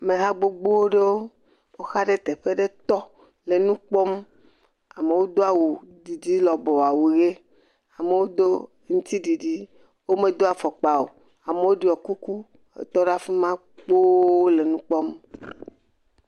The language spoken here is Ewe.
Ameha gbogbo aɖewo woxa ɖe teƒe aɖe tɔ hele nu kpɔm. Amewo do awu ʋi didi lɔbɔwo awu ʋi. Amewo do aŋuti ɖiɖi. Wome do afɔkpa o. Amewo ɖɔ kuku hetɔ ɖe afi ma kpo le nu kpɔm.